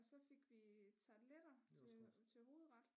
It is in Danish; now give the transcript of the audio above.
Og så fik vi tarteletter til til hovedret